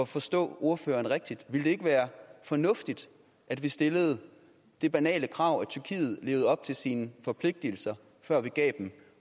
forstå ordføreren rigtigt ville det ikke være fornuftigt at vi stillede det banale krav at tyrkiet levede op til sine forpligtigelser før vi gav dem